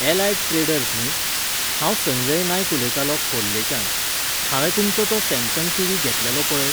Allied Traders न्ही? हांव संजय नायक उलयतालों खोर्लेच्यान. हावें तुमचो तो सॅमसंग टीवी घेतलेलो पळय!